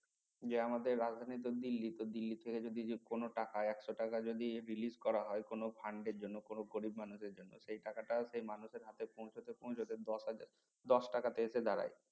যে আমাদের রাজধানী তো দিল্লি তো দিল্লিতে ছেড়ে যদি কোনো টাকা একশ টাকা যদি release করা হয় কোনো fund এর জন্য কোনো গরিব মানুষের জন্য সেই টাকা টা সেই মানুষের হাতে পৌঁছাতে পৌঁছাতে দশ হাজার দশ টাকাতে আসে দাঁড়ায়